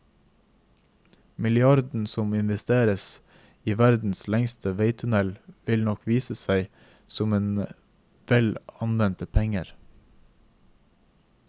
Milliarden som investeres i verdens lengste veitunnel vil nok vise seg som vel anvendte penger.